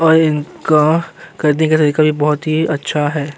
और इनका करने का तरीका भी बोहोत ही अच्छा है।